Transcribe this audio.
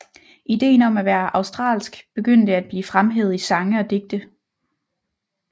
Ideen om at være australsk begyndte at blive fremhævet i sange og digte